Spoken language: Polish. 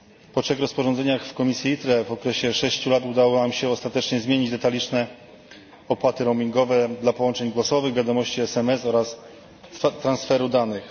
Po trzech rozporządzeniach w komisji ITRE w okresie sześciu lat udało nam się ostatecznie zmienić detaliczne opłaty roamingowe dla połączeń głosowych, wiadomości sms oraz transferu danych.